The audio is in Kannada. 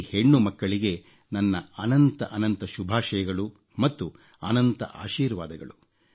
ಈ ಹೆಣ್ಣುಮಕ್ಕಳಿಗೆ ನನ್ನ ಅನಂತ ಅನಂತ ಶುಭಾಷಯಗಳು ಮತ್ತು ಅನಂತ ಆಶೀರ್ವಾದಗಳು